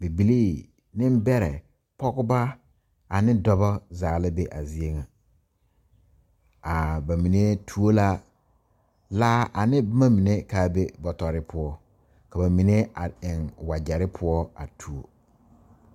Bibilee niŋbɛrɛ pɔgebo ane dɔba zaa la be a zie nyɛ a ba mine tuo la laa a ne boma mine kaa be bɔtɔri poɔ ka ba mine eŋ wagyɛri poɔ a tuo.